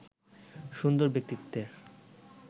সুন্দর ব্যক্তিত্বের